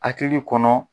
Hakili kɔnɔ